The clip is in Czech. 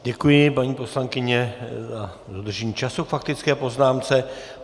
Děkuji, paní poslankyně, za dodržení času k faktické poznámce.